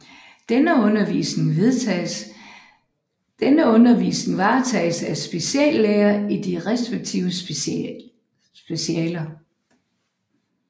Denne undervisning varetages af speciallæger i de respektive specialer